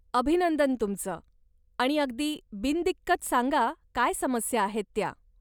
अभिनंदन तुमचं, आणि अगदी बिनदिक्कत सांगा काय समस्या आहेत त्या.